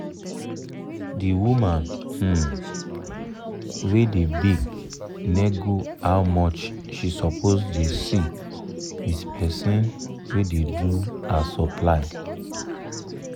d woman um wey da bake nego how much she suppose da see with person wey da do her supply